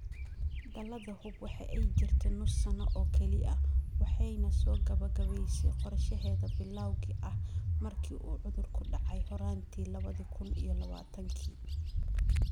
Dalada Hub waxa ay jirtay nus sano oo kaliya waxana ay soo gebagebaysay qorshaheeda bilawga ah markii uu cudurku ku dhacay horaantii lawa kun iyo lawatanki.